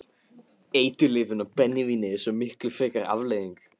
Eiturlyfin og brennivínið er svo miklu frekar afleiðing.